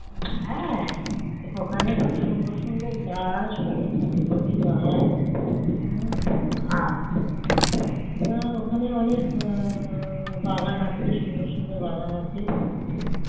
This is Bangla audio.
হ্যাঁ ওখানে খুব সুন্দর সুন্দর গাছ অনেক দামি দামি গাছ তা ওখানে অনেক বাগান আছে সুন্দর সুন্দর বাগান আছে